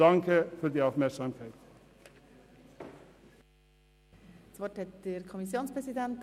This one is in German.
Der Kommissionspräsident hat das Wort.